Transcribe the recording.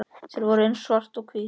Þau voru eins og svart og hvítt.